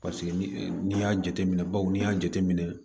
ni y'a jateminɛ baw n'i y'a jateminɛ